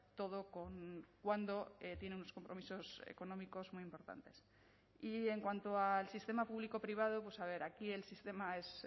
todo cuando tiene unos compromisos económicos muy importantes y en cuanto al sistema público privado pues a ver aquí el sistema es